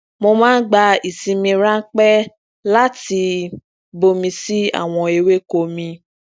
mo máa ń gba isinmi ranpẹ láti bomi si àwọn ewéko mi